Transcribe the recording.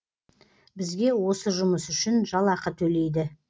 бізге осы жұмыс үшін жалақы төлейді